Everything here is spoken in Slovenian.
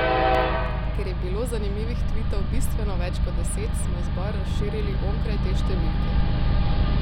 Ker je bilo zanimivih tvitov bistveno več kot deset, smo izbor razširili onkraj te številke.